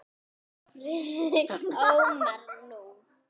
Friðrik Ómar: Nú?